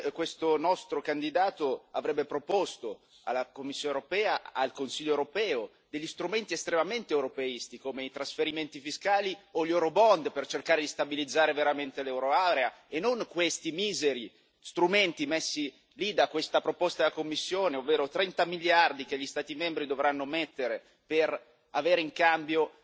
questo nostro candidato avrebbe proposto alla Commissione europea e al Consiglio europeo degli strumenti estremamente europeisti, come i trasferimenti fiscali o gli per cercare di stabilizzare veramente la zona euro, e non questi miseri strumenti messi lì da questa proposta della Commissione, ovvero 30 miliardi che gli Stati membri dovranno mettere per avere in cambio